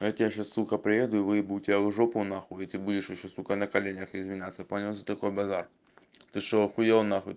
я тебе сейчас сука приеду и выебу тебя в жопу нахуй и ты будешь ещё сука на коленях извиняться понял за такой базар ты что ахуел нахуй